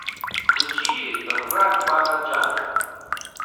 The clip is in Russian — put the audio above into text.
включи храг бала джана